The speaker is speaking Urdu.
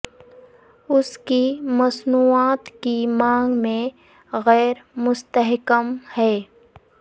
اس کی مصنوعات کی مانگ میں غیر مستحکم ہے